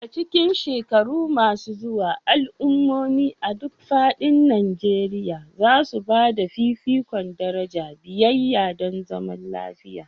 A cikin shekaru masu zuwa, al'ummomi a duk faɗin Najeriya za su ba da fifikon daraja biyayya don zaman lafiya.